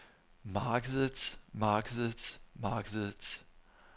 markedets markedets markedets